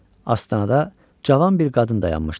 Astanada cavan bir qadın dayanmışdı.